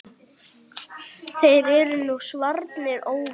Þeir eru nú svarnir óvinir.